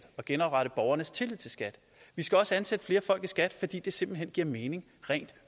genoprette borgernes tillid til skat vi skal også ansætte flere folk i skat fordi det simpelt hen giver mening rent